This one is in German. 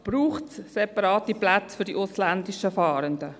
Braucht es separate Plätze für die ausländischen Fahrenden?